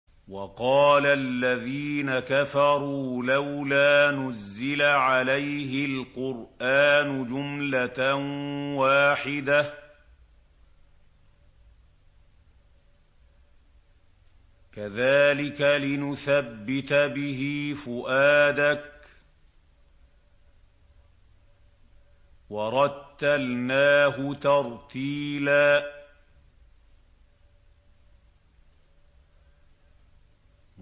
وَقَالَ الَّذِينَ كَفَرُوا لَوْلَا نُزِّلَ عَلَيْهِ الْقُرْآنُ جُمْلَةً وَاحِدَةً ۚ كَذَٰلِكَ لِنُثَبِّتَ بِهِ فُؤَادَكَ ۖ وَرَتَّلْنَاهُ تَرْتِيلًا